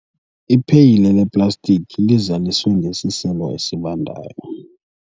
ipheyile leplastiki lizaliswe ngesiselo esibandayo